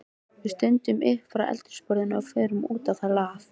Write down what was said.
Við stöndum upp frá eldhúsborðinu og förum út á hlað.